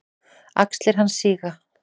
Axlir hans síga.